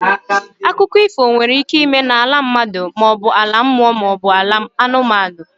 Akụkọ ifo nwere ike ịme n'ala mmadụ maọbu ala mmụọ maọbụ ala ụmụ anụmanụ.